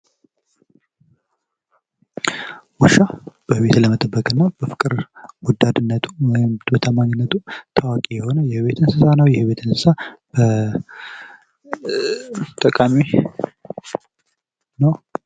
ውሻ ቤትን ለመጠበቅና በፍቅር ወዳድነቱ በታማኝነቱ ታዋቂ የሆነ የቤት እንስሳ ነው። ይህም የቤት እንስሳ ጠቃሚ ነው።